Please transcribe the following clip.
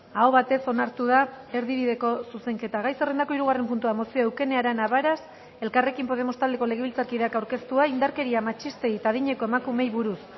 aho batez onartu da erdibideko zuzenketa gai zerrendako hirugarren puntua mozioa eukene arana varas elkarrekin podemos taldeko legebiltzarkideak aurkeztua indarkeria matxistei eta adineko emakumeei buruz